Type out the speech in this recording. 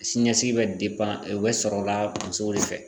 Sini ɲɛsigi bɛ o bɛ sɔrɔ o la musow de fɛ.